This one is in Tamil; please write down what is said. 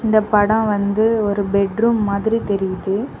இந்த படம் வந்து ஒரு பெட் ரூம் மாதிரி தெரியுது.